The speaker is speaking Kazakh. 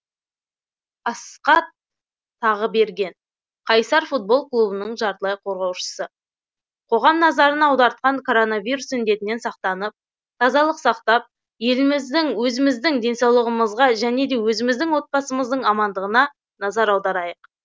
асқат тағыберген қайсар футбол клубының жартылай қорғаушысы қоғам назарын аудартқан коронавирус індетінен сақтанып тазалық сақтап еліміздің өзіміздің денсаулығымызға және де өзіміздің отбасымыздың амандығына назар аударайық